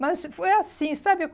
Mas foi assim, sabe?